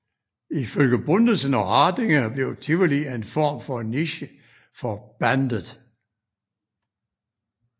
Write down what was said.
Ifølge Bundesen og Hardinger blev Tivoli en form for niché for bandet